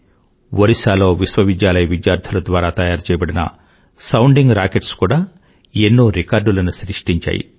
ఒరిస్సాలో విశ్వవిద్యాలయ విద్యార్థుల ద్వారా తయరుచెయ్యబడిన సౌండింగ్ Rocketsకూడా ఎన్నో రికార్డులను సృష్టించాయి